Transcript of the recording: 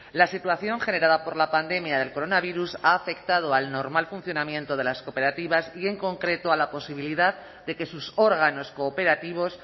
la situación generada por la pandemia del coronavirus ha afectado al normal funcionamiento de las cooperativas y en concreto a la posibilidad de que sus órganos cooperativos